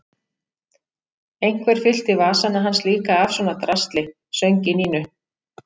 Einhver fyllti vasana hans líka af svona drasli söng í Nínu.